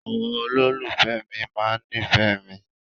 Àwọn olólùfẹ́ mi máa nífẹ̀ẹ́ mi.